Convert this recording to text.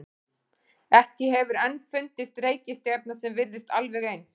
Ekki hefur enn fundist reikistjarna sem virðist alveg eins.